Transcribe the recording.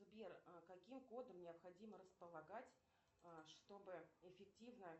сбер каким кодом необходимо располагать чтобы эффективно